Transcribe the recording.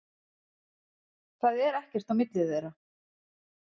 Það er ekkert á milli þeirra.